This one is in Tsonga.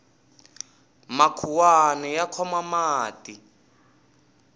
makhuwani ya khoma mati